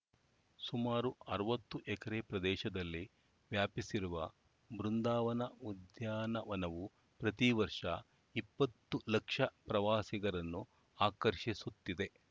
ಸುಮಾರು ಅರವತ್ತು ಎಕರೆ ಪ್ರದೇಶದಲ್ಲಿ ವ್ಯಾಪಿಸಿರುವ ಬೃಂದವನ ಉದ್ಯಾನವನವು ಪ್ರತಿ ವರ್ಷ ಇಪ್ಪತ್ತು ಲಕ್ಷ ಪ್ರವಾಸಿಗರನ್ನು ಆಕರ್ಷಿಸುತ್ತಿದೆ